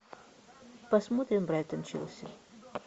посмотрим брайтон челси